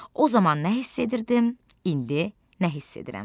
O zaman nə hiss edirdim, indi nə hiss edirəm?